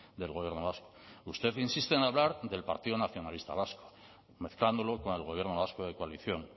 del gobierno vasco usted insiste en hablar del partido nacionalista vasco mezclándolo con el gobierno vasco de coalición